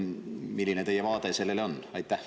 Milline teie vaade sellele on?